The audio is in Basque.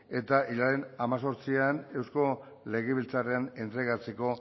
eta hilaren hemezortzian eusko legebiltzarrean entregatzeko